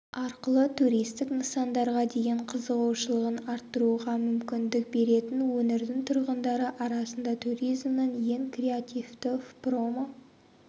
арқылы туристік нысандарға деген қызығушылығын арттыруға мүмкіндік беретін өңірдің тұрғындары арасында туризмнің ең креативті промо